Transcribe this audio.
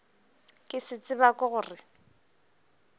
ke se tseba ke gore